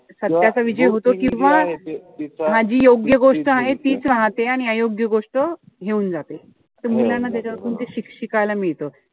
सत्याचा विजय होतो किंवा जी योग्य गोष्ट आहे तीच राहते. आणि अयोग्य गोष्ट हे हुन जाते. त मुलांना त्यामधन शिकायला मिळतं.